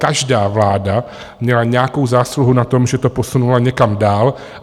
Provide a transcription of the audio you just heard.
Každá vláda měla nějakou zásluhu na tom, že to posunula někam dál.